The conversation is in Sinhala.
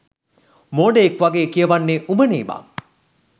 මෝඩයෙක් වගේ කියවන්නේ උඹනේ බං